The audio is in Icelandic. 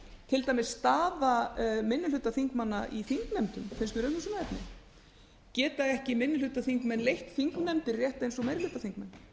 til dæmis staða minnihlutaþingmanna í þingnefndum finnst mér umhugsunarefni geta ekki minnihlutaþingmenn leitt þingnefndir rétt eins og meirihlutaþingmenn